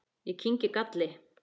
Ég kyngi galli.